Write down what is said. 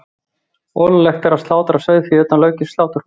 Ólöglegt er að slátra sauðfé utan löggilts sláturhúss.